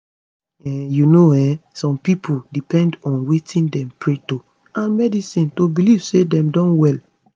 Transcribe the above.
um you know[um]some pipo depend on wetin dem pray to and medicine to belief say dem don well